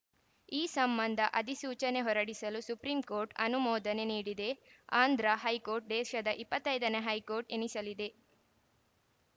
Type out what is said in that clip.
ಈ ಸಂಬಂಧ ಅಧಿಸೂಚನೆ ಹೊರಡಿಸಲು ಸುಪ್ರೀಂಕೋರ್ಟ್‌ ಅನುಮೋದನೆ ನೀಡಿದೆ ಆಂಧ್ರ ಹೈಕೋರ್ಟ್‌ ದೇಶದ ಇಪ್ಪತ್ತ್ ಐದನೇ ಹೈಕೋರ್ಟ್‌ ಎನಿಸಲಿದೆ